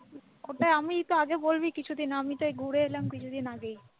ওটা আমি তো আগে বলবি কিছুদিন আমিতো এই ঘুরে এলাম কিছুদিন আগে ।